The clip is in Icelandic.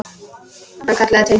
Hann kallaði til mín.